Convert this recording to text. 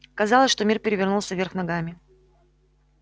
казалось что мир перевернулся вверх ногами